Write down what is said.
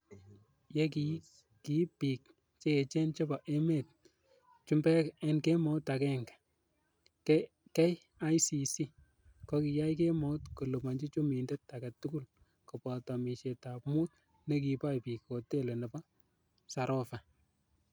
Ye kiib bik che echen chebo emetab chumbek en kemout agenge, KICC ko kiyai kemout koliponyi chumindet agetugul, koboto omisietab mut nekiboe bik hoteli nebo Sarova.